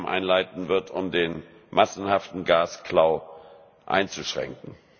einleiten wird, um den massenhaften Gasklau einzuschränken.